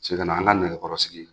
Sekena an ga nɛkɛkɔrɔ sigi